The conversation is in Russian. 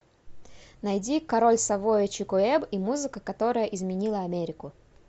найди король савойи чик уэбб и музыка которая изменила америку